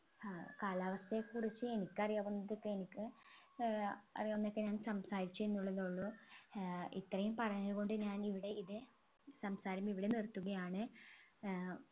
ഏർ കാലാവസ്ഥയെ കുറിച്ച് എനിക്കറിയാവുന്നതൊക്കെ എനിക്ക് ഏർ അറിയാവുന്നതൊക്കെ ഞാൻ സംസാരിച്ചെന്നുള്ളൂ തോന്നുന്നു ഏർ ഇത്രയും പറഞ്ഞുകൊണ്ട് ഞാൻ ഇവിടെ ഇത് സംസാരം ഇവിടെ നിർത്തുകയാണ് ഏർ